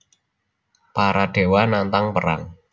Para dewa nantang perang